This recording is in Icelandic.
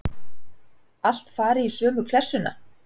Allt fari í sömu klessuna.